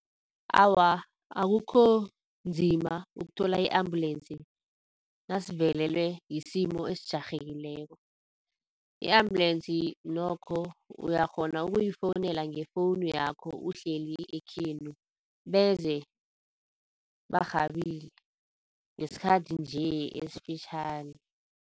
Awa, akukho nzima ukuthola i-ambulance nasivelelwe yisimo esijarhekileko. I-ambulance nokho uyakghona ukuyifowunela ngo-phone yakho uhleli ekhenu beze barhabile ngesikhathi nje esifitjhani.